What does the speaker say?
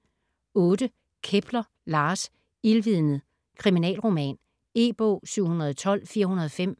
Kepler, Lars: Ildvidnet: kriminalroman E-bog 712405